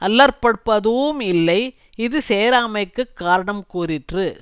அல்லற்படுப்பதூஉம் இல்லை இது சேராமைக்குக் காரணங் கூறிற்று